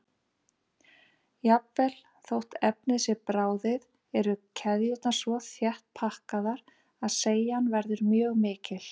Jafnvel þótt efnið sé bráðið eru keðjurnar svo þétt pakkaðar að seigjan verður mjög mikil.